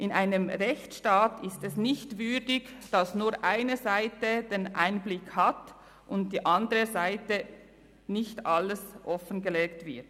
In einem Rechtsstaat ist es nicht würdig, dass nur eine Seite Einblick hat und der anderen Seite nicht alles offengelegt wird.